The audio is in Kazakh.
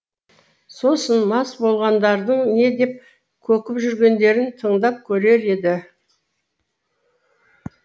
сосын мас болғандардың не деп көкіп жүргендерін тыңдап көрер еді